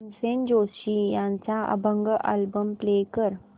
भीमसेन जोशी यांचा अभंग album play कर